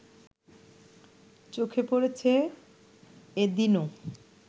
চোখে পড়েছে এদিনও